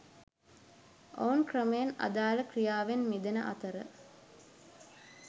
ඔවුන් ක්‍රමයෙන් අදාල ක්‍රියාවෙන් මිදෙන අතර